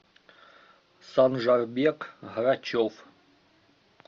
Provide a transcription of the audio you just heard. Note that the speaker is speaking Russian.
санжарбек грачев